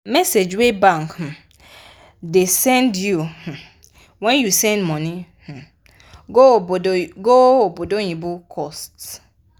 message wey bank um da send you you um when you send money um go obodoyibo cost